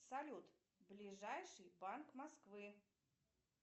салют ближайший банк москвы